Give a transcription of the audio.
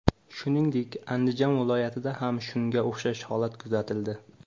Shuningdek, Andijon vilyatida ham shunga o‘xshash holat kuzatildi.